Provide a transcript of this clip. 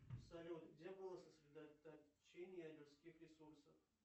салют где было сосредоточение людских ресурсов